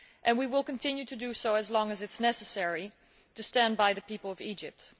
We will continue to do so as long as is necessary, to stand by the people of Egypt.